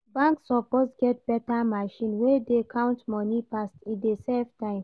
Bank suppose get beta machine wey dey count moni fast, e dey save time.